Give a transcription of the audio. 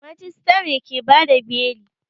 Majistare ke bada beli